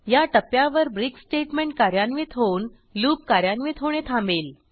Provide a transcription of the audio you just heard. या टप्प्यावर break statement कार्यान्वित होऊन लूप कार्यान्वित होणे थांबेल